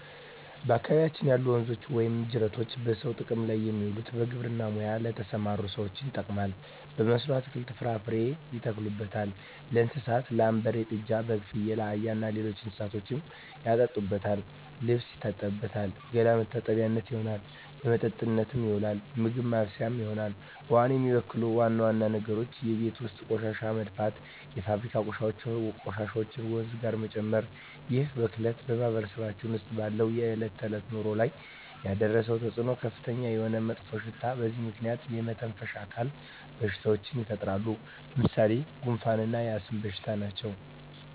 በአካባቢያችን ያሉ ወንዞች ወይም ጅረቶች በሰዎች ጥቅም ላይ የሚውለው በግብርና ሙያ ለተሠማሩ ሠዎች ይጠቅማል። በመስኖ አትክልትን፣ ፍራፍሬ ያተክሉበታል። ለእንስሳት ላም፣ በሬ፣ ጥጃ፣ በግ፣ ፍየል፣ አህያ እና ሌሎች እንስሶችን ያጠጡበታል፣ ልብስ ይታጠብበታል፣ ገላ መታጠቢያነት ይሆናል። ለመጠጥነት ይውላል፣ ምግብ ማብሠያ ይሆናል። ውሃውን የሚበክሉ ዋና ዋና ነገሮች የቤት ውስጥ ቆሻሻ መድፋት፣ የፋብሪካ ቆሻሾችን ወንዙ ጋር መጨመር ይህ ብክለት በማህበረሰባችን ውስጥ ባለው የዕለት ተዕለት ኑሮ ላይ ያደረሰው ተፅኖ ከፍተኛ የሆነ መጥፎሽታ በዚህ ምክንያት የመተነፈሻ አካል በሽታዎች ይፈጠራሉ። ለምሣሌ፦ ጉንፋ እና የአስም በሽታ ናቸው።